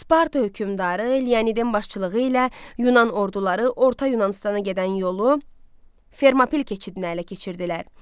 Sparta hökmdarı Leonidin başçılığı ilə Yunan orduları Orta Yunanıstana gedən yolu Fermopil keçidini ələ keçirdilər.